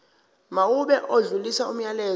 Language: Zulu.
mawube odlulisa umyalezo